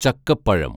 ചക്കപ്പഴം